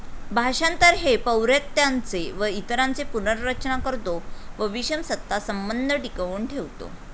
भाषांतर हे पौवर्त्यांचे व इतरांचे पुनर्रचना करतो व विषम सत्ता संबंध टिकवून ठेवतो.